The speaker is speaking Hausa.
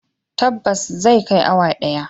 Tabbas zai kai awa daya.